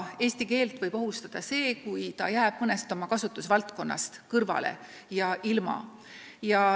Eesti keelt võib ohustada see, kui ta jääb mõnest oma kasutusvaldkonnast ilma.